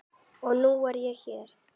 Og nú er ég hér!